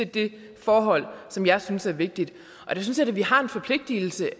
det forhold som jeg synes er vigtigt der synes jeg da vi har en forpligtelse